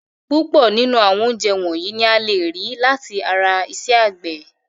Púpọ̀ nínú àwọn oúnjẹ wọ̀nyìí ni a lè rí láti ara iṣẹ́ àgbẹ̀.